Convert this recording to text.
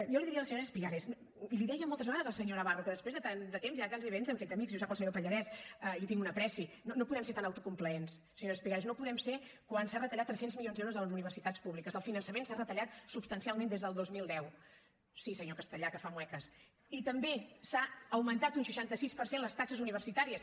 jo li diria a la senyora espigares i l’hi deia moltes vegades al senyor navarro que després de tant de temps ja quasi ens hem fet amics i ho sap el senyor pallarès i li tinc una estimació no podem ser tan autocomplaents senyora espigares no ho podem ser quan s’han retallat tres cents milions d’euros a les universitats públiques el finançament s’ha retallat substancialment des del dos mil deu sí senyor castellà que fa ganyotes i també s’han augmentat un seixanta sis per cent les taxes universitàries